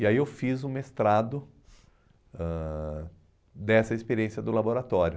E aí eu fiz o mestrado ãh dessa experiência do laboratório.